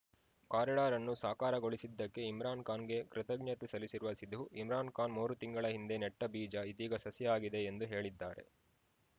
corridor ಅನ್ನು ಸಾಕಾರ ಗೊಳಿಸಿದ್ದಕ್ಕೆ ಇಮ್ರಾನ್‌ ಖಾನ್‌ಗೆ ಕೃತಜ್ಞತೆ ಸಲ್ಲಿಸಿರುವ ಸಿಧು ಇಮ್ರಾನ್‌ ಖಾನ್‌ ಮೂರು ತಿಂಗಳ ಹಿಂದೆ ನೆಟ್ಟಬೀಜ ಇದೀಗ ಸಸಿಯಾಗಿದೆ ಎಂದು ಹೇಳಿದ್ದಾರೆ